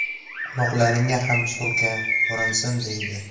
Quloqlaringga ham surka, ko‘rinsin” deydi.